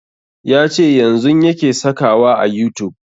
Ya ce yanzun yake saka wa a youtube